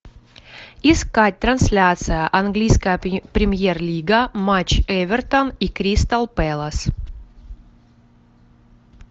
искать трансляция английская премьер лига матч эвертон и кристал пэлас